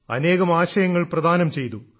അനേകം ആശയങ്ങൾ പ്രദാനം ചെയ്തു